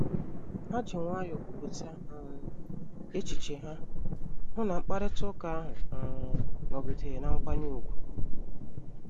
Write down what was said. Ha ji nwayọọ kwupụta um echiche ha, hụ na mkparịta ụka ahụ um nọgidere na mkwanye ùgwù